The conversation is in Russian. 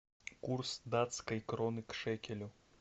курс датской кроны к шекелю